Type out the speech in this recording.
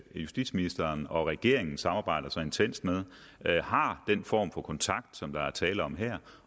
justitsministeren og regeringen samarbejder så intenst med har den form for kontakt som der er tale om her